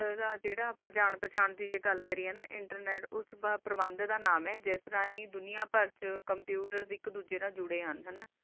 ਜਾ ਨਾਲਚ ਜਰਾ ਜਾਨ ਪਾਚਨ ਕਰਿਆ ਨਾ internet ਪ੍ਰਵਾਨ ਦਾ ਨਾਮ ਆ ਜਿਡਾ ਕੰਪਿਊਟਰ ਏਕ ਦੋ